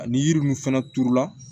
Ani yiri mun fɛnɛ turula